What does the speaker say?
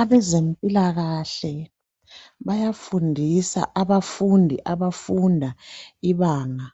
Abezempilakahle bayafundisa abafundi abafunda ibanga